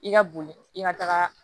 I ka boli i ka taga